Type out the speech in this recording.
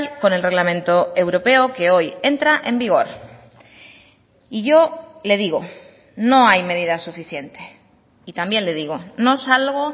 con el reglamento europeo que hoy entra en vigor y yo le digo no hay medidas suficientes y también le digo no salgo